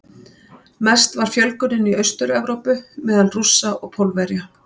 Mest var fjölgunin í Austur-Evrópu, meðal Rússa og Pólverja.